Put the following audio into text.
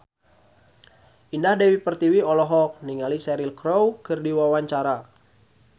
Indah Dewi Pertiwi olohok ningali Cheryl Crow keur diwawancara